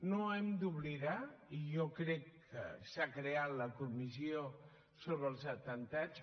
no hem d’oblidar i jo crec que s’ha creat la comissió sobre els atemptats